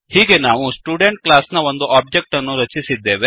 ಹೀಗೆ ನಾವು student class ನ ಒಂದು ಒಬ್ಜೆಕ್ಟ್ ಅನ್ನು ರಚಿಸಿದ್ದೇವೆ